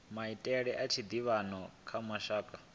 maitele a tshiḓivhano kha mashaka